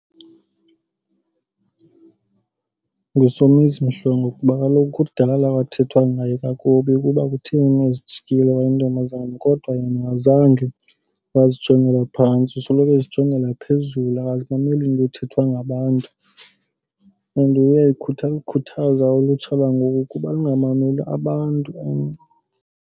NguSomizi Mhlongo kuba kaloku kudala kwathethwa ngaye kakubi ukuba kutheni ezijikile wayintombazana. Kodwa yena azange wazijongela phantsi. Usoloko ezijongela phezulu akazimameli into ezithethwa ngabantu. And uyayikhuthaza ulutsha lwangoku ukuba lungamameli abantu .